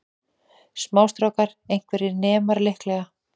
Smástrákar, einhverjir nemar líklega.